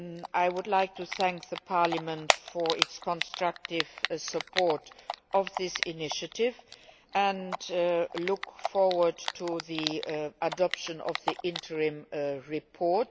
I would like to thank Parliament for its constructive support of this initiative and look forward to the adoption of the interim report.